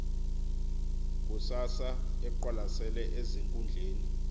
kusasa eqwalasele ezinkundleni